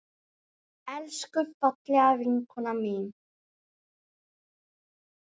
Elsku fallega vinkona mín.